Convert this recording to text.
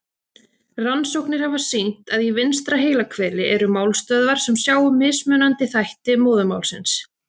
Rannsóknir hafa sýnt að í vinstra heilahveli eru málstöðvar sem sjá um mismunandi þætti móðurmálsins.